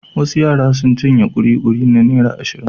Wasu yara sun cinye ƙuliƙuli na naira ashirin.